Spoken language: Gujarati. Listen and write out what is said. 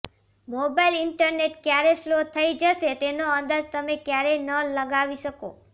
મોબાઈલ ઈન્ટરનેટ ક્યારે સ્લો થઈ જશે તેનો અંદાજ તમે ક્યારેય ન લગાવી શકો